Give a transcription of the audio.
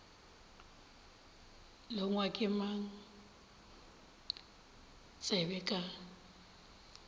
longwa ke mang tsebe ka